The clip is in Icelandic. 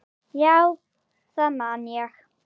Já, það man ég